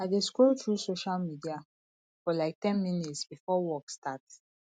i dey scroll through social media for like ten minutes before work starts